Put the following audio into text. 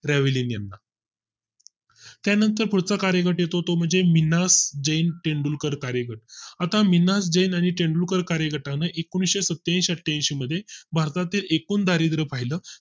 ब्रेव्हलीन ला त्यानंतर पुढचा कार्यगट येतो तो म्हणजे मीना जैन तेंडुलकर कार्यक्रम आता मीना जेन आणि तेंडुलकर कार्यकाळ एकोनशी सत्त्याऐंशी अठ्ठ्याऐंशी मध्ये भारताचे एकूण दारिद्र्य पाहिलं